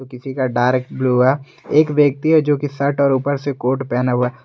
किसी का dark blue है एक व्यक्ति है जो की शर्ट और ऊपर से कोट पहना हुआ--